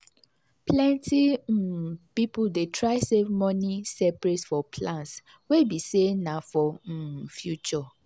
plenty um people dey try save money separate for plans wey be say na for um future